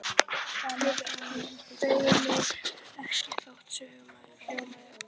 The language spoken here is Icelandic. Ég beygi mig ekki þótt söngurinn hljómi: